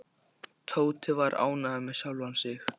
Tóti var ánægður með sjálfan sig.